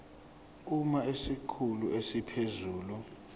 uma isikhulu esiphezulu